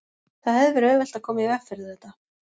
Það hefði verið auðvelt að koma í veg fyrir þetta.